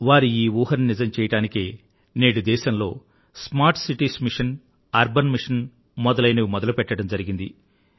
వారి ఈ ఊహను నిజం చెయ్యడానికే నేడు దేశంలో smart cities mission urban mission మొదలైనవి మొదలుపెట్టడం జరిగింది